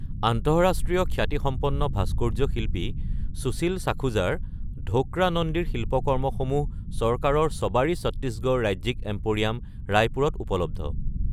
আন্তঃৰাষ্ট্ৰীয় খ্যাতিসম্পন্ন ভাস্কৰ্য শিল্পী সুশীল সাখুজাৰ ধোকৰা নন্দীৰ শিল্পকৰ্মসমূহ চৰকাৰৰ শবাৰী ছত্তীশগড় ৰাজ্যিক এম্প’ৰিয়াম, ৰায়পুৰত উপলব্ধ।